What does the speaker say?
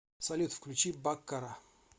салют включи баккара